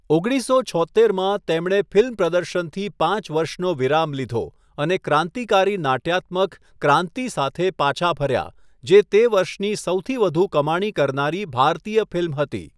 ઓગણીસસો છોત્તેરમાં, તેમણે ફિલ્મ પ્રદર્શનથી પાંચ વર્ષનો વિરામ લીધો અને ક્રાંતિકારી નાટ્યાત્મક 'ક્રાંતિ' સાથે પાછા ફર્યા, જે તે વર્ષની સૌથી વધુ કમાણી કરનારી ભારતીય ફિલ્મ હતી.